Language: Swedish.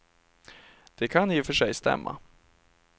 Det kan i och för sig stämma.